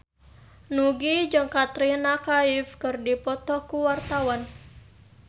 Nugie jeung Katrina Kaif keur dipoto ku wartawan